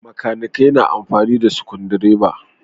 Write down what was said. Bakanikai na amfani da sukundireba.